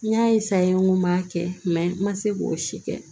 N y'a n ko n b'a kɛ n ma se k'o si kɛ